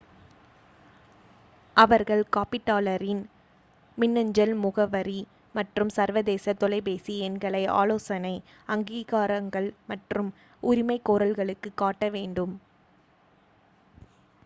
அவர்கள் காப்பீட்டாளரின் மின்னஞ்சல் முகவரி மற்றும் சர்வதேச தொலைபேசி எண்களை ஆலோசனை / அங்கீகாரங்கள் மற்றும் உரிமைகோரல்களுக்கு காட்ட வேண்டும்